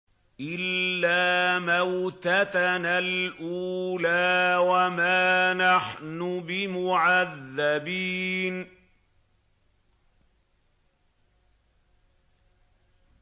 إِلَّا مَوْتَتَنَا الْأُولَىٰ وَمَا نَحْنُ بِمُعَذَّبِينَ